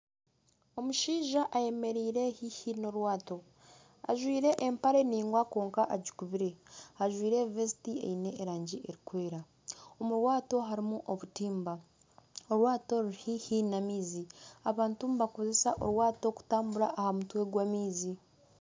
Omushaija ayemereire haihi n'orwaato ajwaire empare ndaingwa kwonka agikubire, ajwaire vesiti eine erangi erikwera omu rwaato harimu obutimba, orwaato ruri haihi n'amaizi abantu nibakoresa rwaato kutambira aha mutwe gw'amaizi.